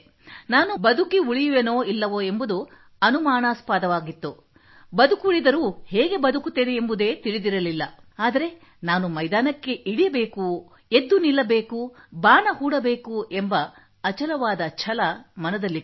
ನಾನು ಬದುಕುಳಿಯುವೆನೋ ಇಲ್ಲವೋ ಎಂಬುದು ಅನುಮಾನಾಸ್ಪದವಾಗಿತ್ತು ಬದುಕುಳಿದರೂ ಹೇಗೆ ಬದುಕುತ್ತೇನೆ ಎಂಬುದೇ ತಿಳಿದಿರಲಿಲ್ಲ ಆದರೆ ನಾನು ಮತ್ತೆ ಮೈದಾನಕ್ಕಿಳಿಯಬೇಕು ಎದ್ದು ನಿಲ್ಲಬೇಕು ಬಾಣ ಹೂಡಬೇಕು ಎಂಬ ಅಚಲವಾದ ಛಲ ಮನದಲ್ಲಿತ್ತು